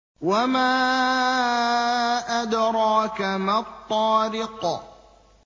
وَمَا أَدْرَاكَ مَا الطَّارِقُ